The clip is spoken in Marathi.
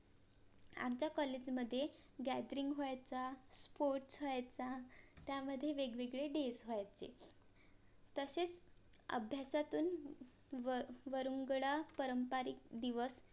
आमच्या COLLAGE मधे GADRING व्हायचा SPORTS व्हायचा त्यामध्ये वेगवेगळे DAYS व्हायचे तसेच अभ्यासातून वर वरंगुळा पारंपरिक दिवस